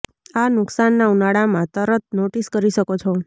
આ નુકસાન ના ઉનાળામાં તરત નોટિસ કરી શકો છો